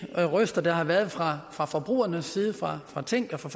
røster der har været fra fra forbrugernes side fra fra tænk og fra